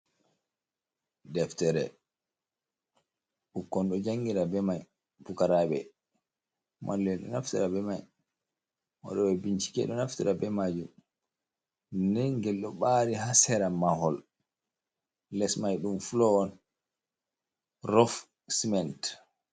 Ɗeftere bukkon do jangira be mai bukarabe. Mallen ɗo naftara be mai. Woɗobe bincike ɗo naftara be majum. Ɗen gel ɗo baari ha sera mahol les mai dum folo on rofsiment.